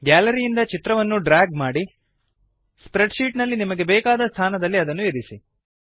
gallery ಇಂದ ಚಿತ್ರವನ್ನು drag ಮಾಡಿ ಸ್ಪ್ರೆಡ್ ಶೀಟ್ ನಲ್ಲಿನ ನಿಮಗೆ ಬೇಕಾದ ಸ್ಥಾನದಲ್ಲಿ ಅದನ್ನು ಇರಿಸಿ